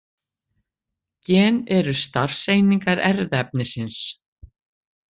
Gen eru starfseiningar erfðaefnisins.